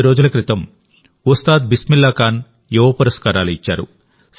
కొద్ది రోజుల క్రితం ఉస్తాద్ బిస్మిల్లాఖాన్ యువ పురస్కారాలు ఇచ్చారు